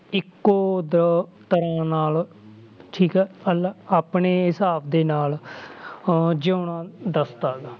ਇੱਕੋ ਦ~ ਤਰ੍ਹਾਂ ਨਾਲ ਠੀਕ ਆ ਆਪਣੇ ਹਿਸਾਬ ਦੇ ਨਾਲ ਅਹ ਜਿਊਣਾ ਦੱਸਦਾ ਗਾ